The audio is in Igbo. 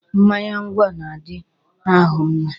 Mmanya ngwọ na-adi ahụ mma.